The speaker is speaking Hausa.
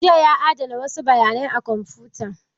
Jiya ya adana wasu bayanai a kwamfutan